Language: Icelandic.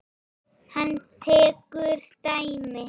Hann tekur dæmi.